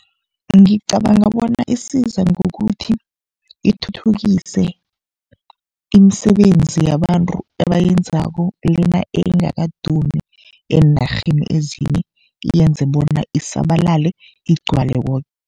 Ngicabanga bona isiza ngokuthi ithuthukise imisebenzi yabantu ebayenzako, lena engakadumi eenarheni ezinye iyenze bona isabalale igcwale koke.